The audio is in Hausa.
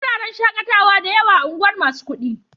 Akwai wuraren shaƙatawa da yawa a unguwar masu kuɗi.